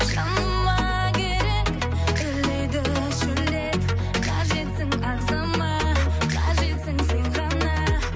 жаныма керек үрлейді шөлдеп қажетсің ағзама қажетсің сен ғана